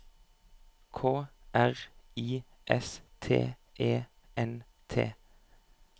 K R I S T E N T